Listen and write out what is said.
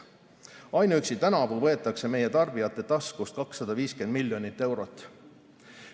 Ainuüksi tänavu võetakse meie tarbijate taskust 250 miljonit eurot.